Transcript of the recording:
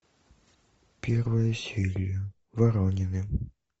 первая серия воронины